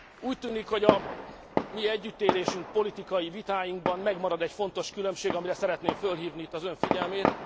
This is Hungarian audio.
Úgy tűnik, hogy a mi együttélésünkben, politikai vitáinkban megmarad egy fontos különbség, amire szeretném felhívni itt az ön figyelmét.